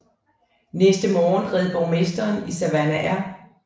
Næste morgen red borgmesteren i Savannah R